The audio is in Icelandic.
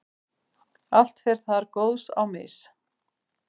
allt fer þar góðs á mis.